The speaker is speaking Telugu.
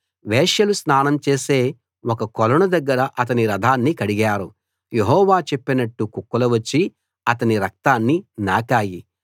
వేశ్యలు స్నానం చేసే ఒక కొలను దగ్గర అతని రథాన్ని కడిగారు యెహోవా చెప్పినట్టు కుక్కలు వచ్చి అతని రక్తాన్ని నాకాయి